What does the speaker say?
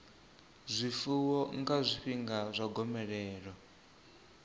zwifuwo nga zwifhinga zwa gomelelo